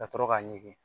Ka sɔrɔ k'a ɲɛgi